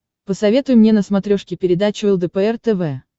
посоветуй мне на смотрешке передачу лдпр тв